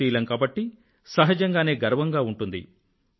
భారతీయులం కాబట్టి సహజంగానే గర్వంగా ఉంటుంది